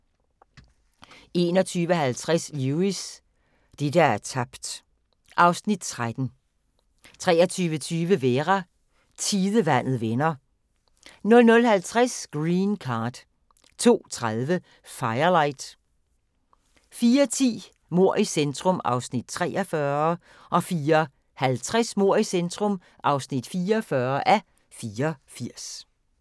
21:50: Lewis: Det, der er tabt (Afs. 13) 23:20: Vera: Tidevandet vender 00:50: Green Card 02:30: Firelight 04:10: Mord i centrum (43:84) 04:50: Mord i centrum (44:84)